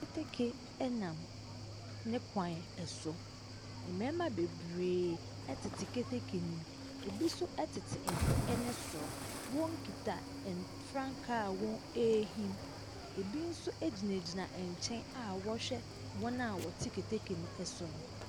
Keteke nam ne kwan so. Mmarima bebree tete keteke no mu. Ebi nso tete ho ne soro. Wɔkita ɛn frankaa a wɔrehim. Ebi nso gyinagyina nkyɛn a wɔrehwɛ wɔn a wɔte keteke no so no.